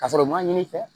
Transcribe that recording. Ka sɔrɔ u ma ɲini i fɛ